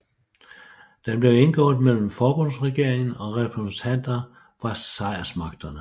Den blev indgået mellem forbundsregeringen og repræsentanter fra sejrsmagterne